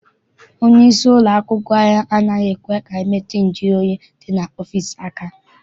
Onye isi ụlọakwụkwọ anyị anaghị ekwe anyị metụ nju oyi dị n'ime ọfịịsi aka.